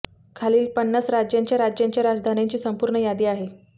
खालील पन्नास राज्यांच्या राज्यांच्या राजधान्यांची संपूर्ण यादी आहे